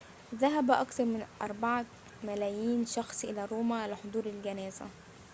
ذهب أكثر من 4 ملايين شخص إلى روما لحضور الجنازة